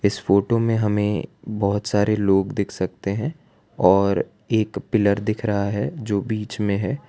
इस फोटो में हमे बहोत सारे लोग दिख सकते है और एक पिलर दिख रहा है जो बीच में है।